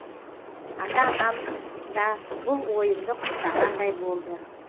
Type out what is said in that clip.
ата анам да бұл ойымды құптағандай болды